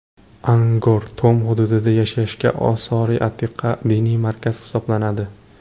Angkor Tom hududida joylashgan osori-atiqa diniy markaz hisoblanadi.